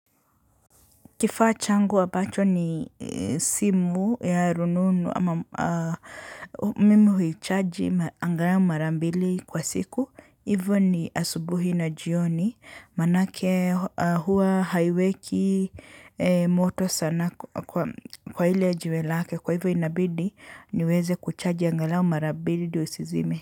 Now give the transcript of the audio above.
Kifaa changu ambacho ni simu ya rununu ama mimi huichaji angalau mara mbili kwa siku. Hivyo ni asubuhi na jioni maanake huwa haiweki moto sana kwa ile jiwe lake kwa hivyo inabidi niweze kuchaji angalau mara mbili ndio isizime.